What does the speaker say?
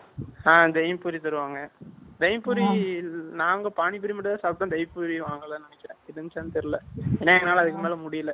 ஆ தயிர் பூரி தருவாங்க தயிர் பூரி நாங்க பானிபூரி மட்டும் தான் சாப்பிட்டோம் தயிர் பூரி வாங்கல்ல நினைக்கிறன் இருந்துச்சா தெரியல ஏன்னா எங்களால அதுக்கு மேல முடியல